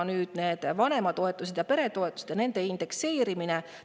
Nüüd, vanema, peretoetused ning nende indekseerimine.